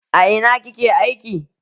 A ina ki ke aiki?